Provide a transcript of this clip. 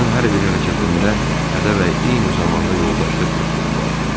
Onun hər bir hərəkətində hədə və eyni zamanda yoldaşlıq təklifi vardı.